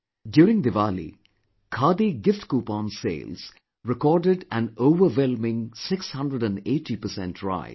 During Diwali, Khadi gift coupon sales recorded an overwhelming 680 per cent rise